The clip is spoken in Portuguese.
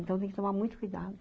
Então, tem que tomar muito cuidado.